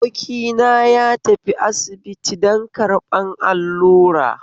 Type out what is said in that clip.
Abokina ya tafi asibiti don karɓan allura